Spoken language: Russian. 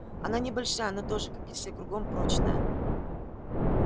она небольшая но тоже как и все кругом прочная